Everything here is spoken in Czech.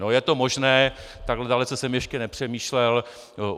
No, je to možné, takhle dalece jsem ještě nepřemýšlel.